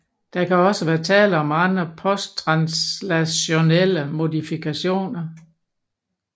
Der kan også være tale om andre posttranslationelle modifikationer